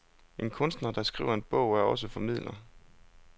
En kunstner, der skriver en bog, er også formidler.